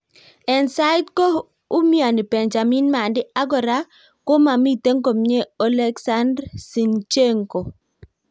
en saiti ko umiani Benjamin Mendy ag kora komamiten komyee Oleksandr Zinchenko